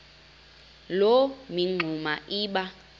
loo mingxuma iba